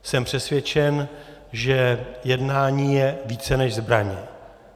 Jsem přesvědčen, že jednání je více než zbraně.